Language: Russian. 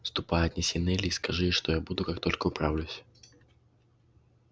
ступай отнеси нелли и скажи ей что я буду как только управлюсь